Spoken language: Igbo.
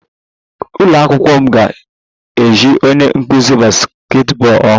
Ụlọ akwụkwọ m ga-eji onye nkuzi basketball ọhụrụ